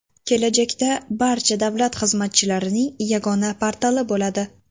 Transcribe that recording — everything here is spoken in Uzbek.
Kelajakda barcha davlat xizmatchilarining yagona portali bo‘ladi.